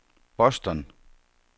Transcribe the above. Boston